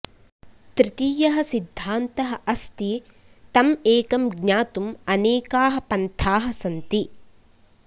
तृतीयः सिद्धान्तः अस्ति तम् एकं ज्ञातुम् अनेकाः पंथाः सन्ति